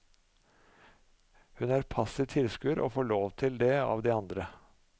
Hun er passiv tilskuer og får lov til det av de andre.